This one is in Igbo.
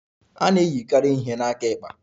A na-eyikarị ihe ihe n'akụkụ aka ekpe.